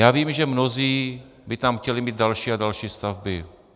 Já vím, že mnozí by tam chtěli mít další a další stavby.